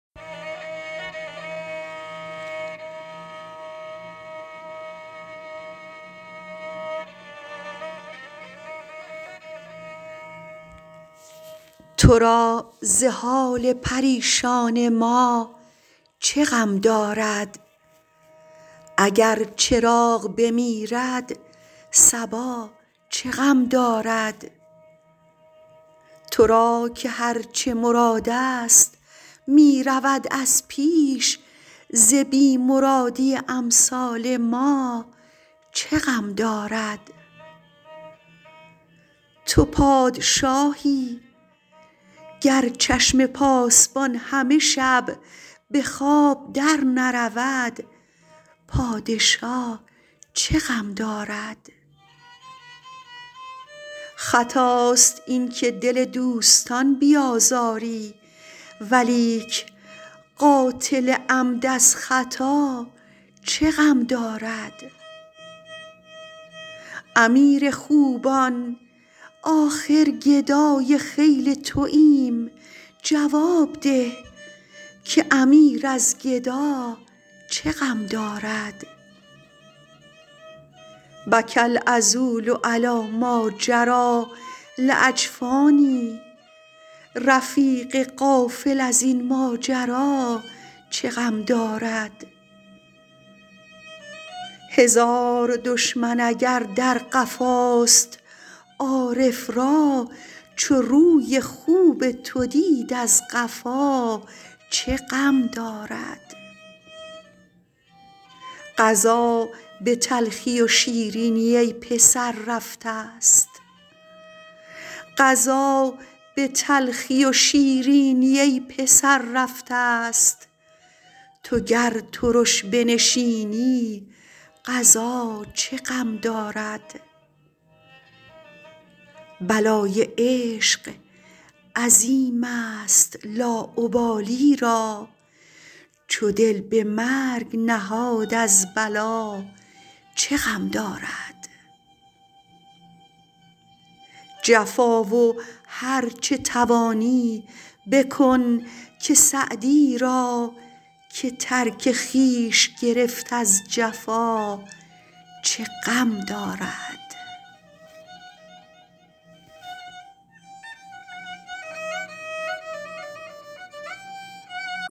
تو را ز حال پریشان ما چه غم دارد اگر چراغ بمیرد صبا چه غم دارد تو را که هر چه مرادست می رود از پیش ز بی مرادی امثال ما چه غم دارد تو پادشاهی گر چشم پاسبان همه شب به خواب درنرود پادشا چه غم دارد خطاست این که دل دوستان بیازاری ولیک قاتل عمد از خطا چه غم دارد امیر خوبان آخر گدای خیل توایم جواب ده که امیر از گدا چه غم دارد بکی العذول علی ماجری لاجفانی رفیق غافل از این ماجرا چه غم دارد هزار دشمن اگر در قفاست عارف را چو روی خوب تو دید از قفا چه غم دارد قضا به تلخی و شیرینی ای پسر رفتست تو گر ترش بنشینی قضا چه غم دارد بلای عشق عظیمست لاابالی را چو دل به مرگ نهاد از بلا چه غم دارد جفا و هر چه توانی بکن که سعدی را که ترک خویش گرفت از جفا چه غم دارد